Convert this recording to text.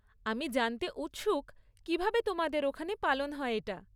আমি জানতে উৎসুক কীভাবে তোমাদের ওখানে পালন হয় এটা।